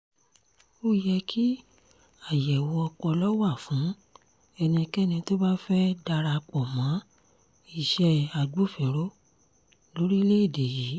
ó yẹ kí àyẹ̀wò ọpọlọ wà fún ẹnikẹ́ni tó bá fẹ́ẹ́ darapọ̀ mọ́ iṣẹ́ agbófinró lórílẹ̀‐èdè yìí